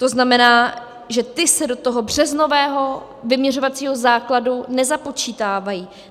To znamená, že ty se do toho březnového vyměřovacího základu nezapočítávají.